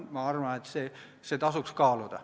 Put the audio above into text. Ma arvan, et seda tasuks kaaluda.